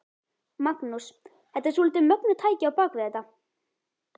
Magnús: Þetta er svolítið mögnuð tækni á bak við þetta?